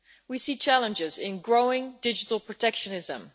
we also see challenges in growing digital protectionism.